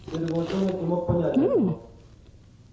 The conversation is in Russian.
серый волчонок не мог понять этого